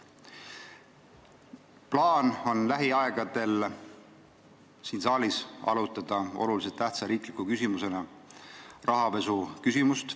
Plaan on lähiajal siin saalis arutada olulise tähtsusega riikliku küsimusena rahapesu.